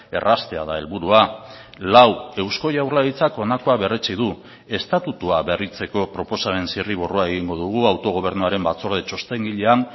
erraztea da helburua lau eusko jaurlaritzak honakoa berretsi du estatutua berritzeko proposamen zirriborroa egingo dugu autogobernuaren batzorde txostengilean